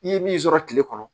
I ye min sɔrɔ kile kɔnɔ